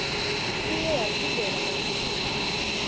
ibuye yaphindela kamsinya